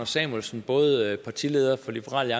samuelsen både partileder for liberal